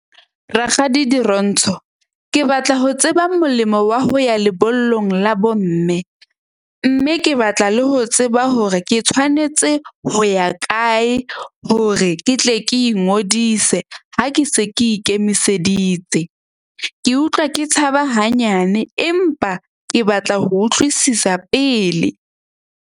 Rakgadi Dirontsho, ke batla ho tseba molemo wa ho ya lebollong la bomme. Mme ke batla le ho tseba hore ke tshwanetse ho ya kae hore ke tle ke ingodise ha ke se ke ikemiseditse. Ke utlwa ke tshaba hanyane empa ke batla ho utlwisisa pele.